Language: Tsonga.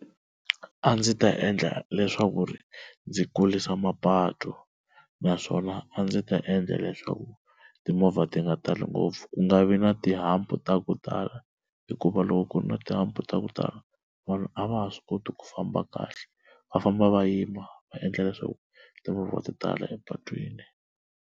A ndzi ta endla leswaku ri ndzi kulisa mapatu naswona a ndzi ta endla leswaku timovha ti nga tali ngopfu, ku nga vi na ti-hump ta ku tala hikuva loko ku ri na ti-hump ta ku tala vanhu a va ha swi koti ku famba kahle va famba va yima va endla leswaku timovha ti tala epatwini.